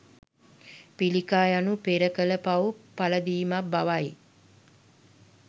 පිළිකා යනු පෙර කල පවු පලදීමක් බවයි.